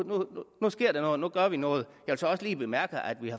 nu sker der noget nu gør vi noget jeg vil så også lige bemærke at vi